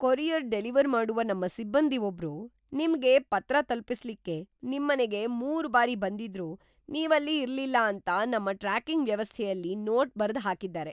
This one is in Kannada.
ಕೊರಿಯರ್ ಡೆಲಿವರ್‌ ಮಾಡುವ ನಮ್ಮ ಸಿಬ್ಬಂದಿ ಒಬ್ರು ನಿಮ್ಗೆ ಪತ್ರ ತಲುಪಿಸ್ಲಿಕ್ಕೆ ನಿಮ್ಮನೆಗೆ ಮೂರು ಬಾರಿ ಬಂದಿದ್ರೂ ನೀವಲ್ಲಿ ಇರ್ಲಿಲ್ಲ ಅಂತ ನಮ್ಮ ಟ್ರ್ಯಾಕಿಂಗ್ ವ್ಯವಸ್ಥೆಯಲ್ಲಿ ನೋಟ್ ಬರ್ದು ಹಾಕಿದ್ದಾರೆ.